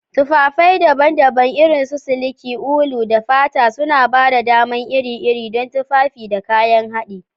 Tufafai daban-daban, irin su siliki, ulu, da fata, suna ba da dama iri-iri don tufafi da kayan haɗi.